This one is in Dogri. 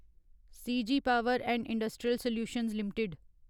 CG power and industrial solutions limited